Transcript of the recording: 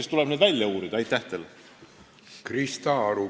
Krista Aru, palun!